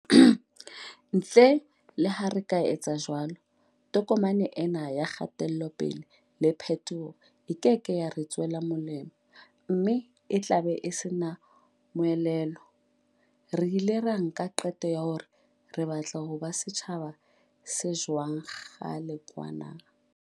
Ntle le ha re ka etsa jwalo, tokomane ena ya kgatelope-le le phetoho e keke ya re tswela molemo mme e tlabe e sena le moelelo. Re ile ra nka qeto ya hore re batla ho ba setjhaba se jwang kgale kwana.